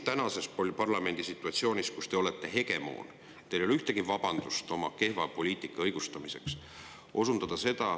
Tänases parlamendisituatsioonis olete teie hegemoon ja teil ei ole ühtegi vabandust oma kehva poliitika õigustamiseks.